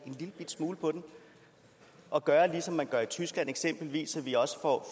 den en lillebitte smule og gøre ligesom man for i tyskland så vi også får